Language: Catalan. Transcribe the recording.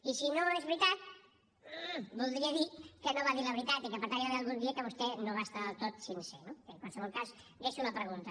i si no és veritat mmmm voldria dir que no va dir la veritat i que per tant hi va haver algun dia que vostè no va estar del tot sincer no bé en qualsevol cas deixo la pregunta